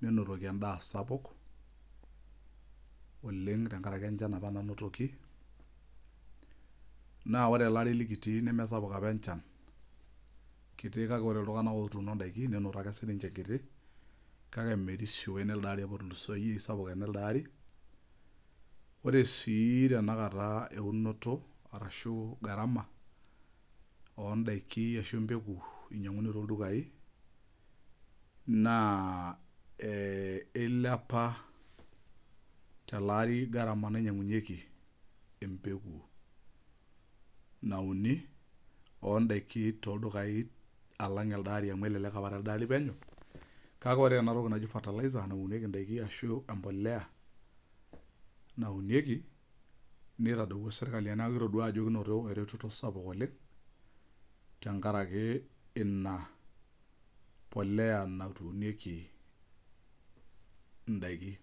neitawuoki emdaa sapuk oleng tenkaraki enchan, na ore ele likitii nama sapuk enchakiti kake olrunb nelde ari apa otuluso ore si tenakata eunoto ondakini ashu ntapuka na ninche einyanguni toldukae na ilepa tolaati garama naunganyunyikeie nona tokitin nauni ondakini tonldykaia alang elee ari amu elelek amkake ore enatoki nauniekkli ana mpoosho naunieki nitadowua serklai kitaduo tenkaraki ina polea natuunoeki ndakini